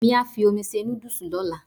Èmí á fi omi se nódùsì lọ́la